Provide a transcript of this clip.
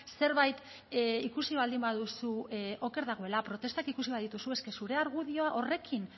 zerbait ikusi baldin baduzu oker dagoela protestak ikusi badituzu es que zure argudioa horrekin